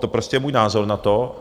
To je prostě můj názor na to.